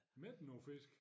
Men er der nogen fisk